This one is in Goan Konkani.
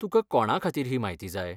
तुकां कोणा खातीर ही म्हायती जाय ?